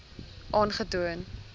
aangetoon